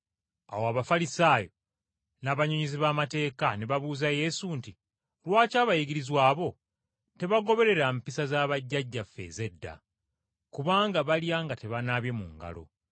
Awo Abafalisaayo n’abannyonnyozi b’amateeka ne babuuza Yesu nti, “Lwaki abayigirizwa bo tebagoberera mpisa za bajjajjaffe ez’edda? Kubanga balya nga tebanaabye mu ngalo.”